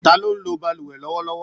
Ta ló ń lo bálùwẹ̀ lọ́wọ́lọ́wọ́?